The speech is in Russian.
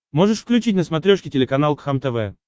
можешь включить на смотрешке телеканал кхлм тв